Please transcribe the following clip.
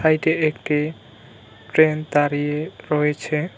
সাইডে একটি ট্রেন দাঁড়িয়ে রয়েছে।